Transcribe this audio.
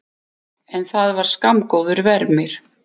En það var skammgóður vermir.